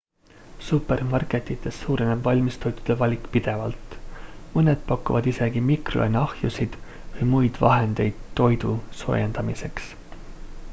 supermarketites suureneb valmistoitude valik pidevalt mõned pakuvad isegi mikrolaineahjusid või muid vahendeid toidu soojendamiseks